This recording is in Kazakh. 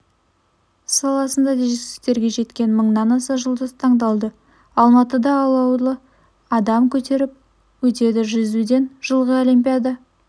саласында жетістіктерге жеткен мыңнан аса жұлдыз таңдалды алматыда алауды адам көтеріп өтеді жүзуден жылғы олимпиада